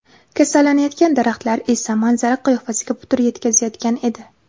Kasallangan daraxtlar esa manzara qiyofasiga putur yetkazayotgan edi.